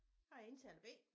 Jeg er indtaler B